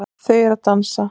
Þau eru að dansa